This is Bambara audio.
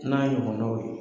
N'a ɲɔgɔnnaw ye.